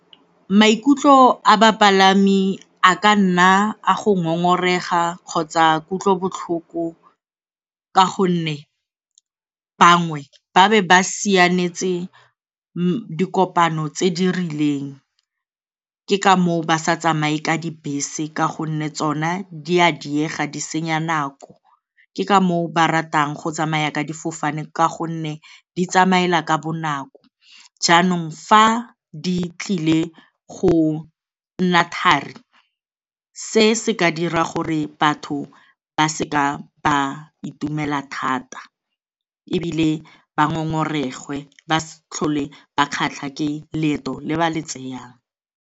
Maikutlo a bapalami a ka nna a go ngongorega kgotsa kutlobotlhoko ka gonne bangwe ba be ba sianetse dikopano tse di rileng, ke ka moo ba sa tsamaye ka dibese ka gonne tsona di a diega, di senya nako, ke ka moo ba ratang go tsamaya ka difofane ka gonne di tsamaela ka bonako. Jaanong fa di tlile go nna thari, se se ka dira gore batho ba seka ba itumela thata ebile ba ngongoregwe ba se tlhole ba kgatlha ke leeto le ba le tseyang.